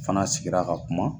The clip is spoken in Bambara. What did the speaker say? Fana sigira ka kuma